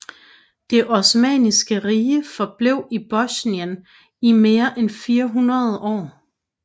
Det Osmanniske Rige forblev i Bosnien i mere end 400 år